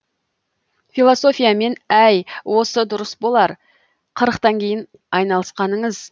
философиямен әй осы дұрыс болар қырықтан кейін айналысқаныңыз